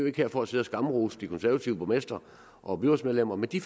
ikke for at sidde og skamrose de konservative borgmestre og byrådsmedlemmer men de